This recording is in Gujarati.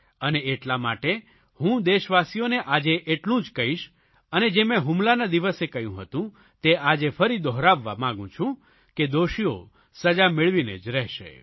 અને એટલા માટે હું દેશવાસીઓને આજે એટલું જ કહીશ અને જે મેં હુમલાના દિવસે કહ્યું હતું તે આજે ફરી વાર દોહરાવવા માગું છું કે દોષીઓ સજા મેળવીને જ રહેશે